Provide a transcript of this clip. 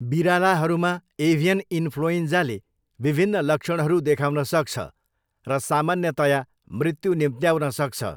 बिरालाहरूमा avian इन्फ्लुएन्जाले विभिन्न लक्षणहरू देखाउन सक्छ र सामान्यतया मृत्यु निम्त्याउन सक्छ।